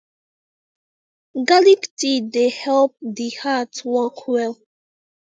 garlic tea dey help the heart work well